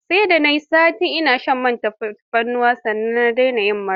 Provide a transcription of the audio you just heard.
Sai da na yi sati ina shan man tafarnuwa, sannan na dena yin mura.